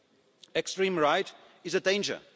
The extreme right is a danger.